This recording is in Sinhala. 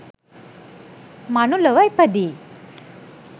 මනුලොව ඉපදී